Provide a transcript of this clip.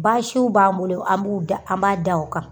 Baasiw b'an bolo an b'u da an b'a da o kan